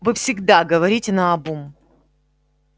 вы всегда говорите наобум